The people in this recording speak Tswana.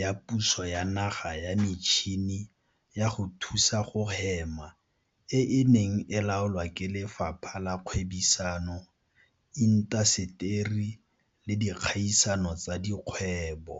ya puso ya Naga ya Metšhini ya go Thusa go Hema e e neng e laolwa ke Lefapha la Kgwebisano, Intaseteri le Dikgaisano tsa Dikgwebo.